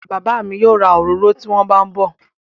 Bàbá mi yóò ra òróró tí wón bá ń bọ̀